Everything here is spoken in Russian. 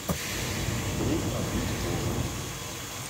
трудно быть богом